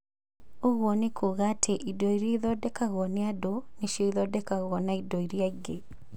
Ũguo nĩ kuuga atĩ indo iria ithondekagwo nĩ andũ nĩcio ithondekagwo nĩ indo iria ingĩ.